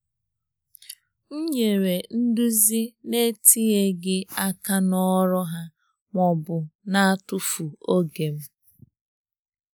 M nyere nduzi nyere nduzi na-etinyeghị aka n’ọrụ ha ma ọ bụ na-atụfu oge m.